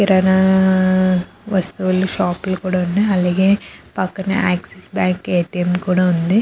కిరాణా వస్తువులు షాప్ లు కూడా ఉన్నాయ్ అలాగే పక్కన ఆక్సిస్ బ్యాంకు ఎ_టి_ఎం కూడా ఉంది.